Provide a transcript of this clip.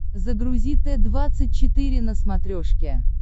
загрузи т двадцать четыре на смотрешке